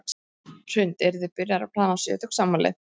Hrund: Eruð þið byrjaðar að plana sjötugsafmælið?